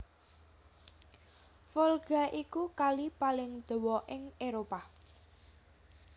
Volga iku Kali paling dawa ing Éropah